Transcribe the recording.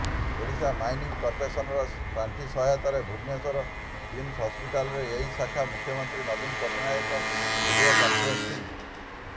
Odisha mining କର୍ପୋରେସନର ପାଣ୍ଠି ସହାୟତାରେ ଭୁବନେଶ୍ୱରର କିମ୍ସ ହସ୍ପିଟାଲର ଏହି ଶାଖାକୁ ମୁଖ୍ୟମନ୍ତ୍ରୀ ନବୀନ ପଟ୍ଟନାୟକ ଭିଡିଓ କନଫେରେନ୍ସିଂ